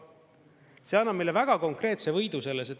See annab meile väga konkreetse võidu selles.